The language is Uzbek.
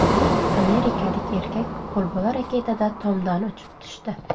Amerikalik erkak qo‘lbola raketada tomdan uchib tushdi.